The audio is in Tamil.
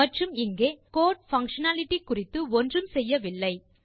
மற்றும் இங்கே கோடு பங்ஷனாலிட்டி குறித்து ஒன்றும் செய்யவில்லை